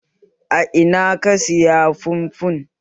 A Ina ka saya fufun?